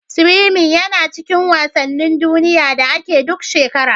Siwimin yana cikin wasanin duniya da ake duk shekara.